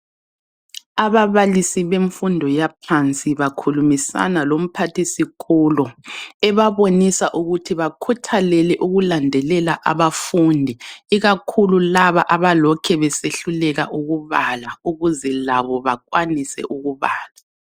Ababalisi bemfundo yaphansi bakhulumisana lomphathisikolo ebabonisa ukuthi bakhuthalele ukulandelela abafundi ikakhulu laba abalokhe besehluleka ukubala ukuze labo bakwanise ukubala.